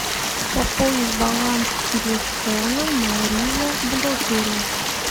пополнить баланс телефона мария бухгалтерия